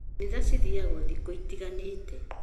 Kanitha cithiagwo thikũ itiganĩte